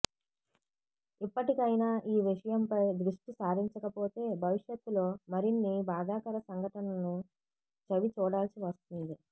ఇప్పటికైనా ఈ విషయం పై ద్రుష్టి సారించకపోతే భవిష్యత్ లో మరిన్ని బాధాకర సంఘటనలను చవిచూడాల్సివస్తుంది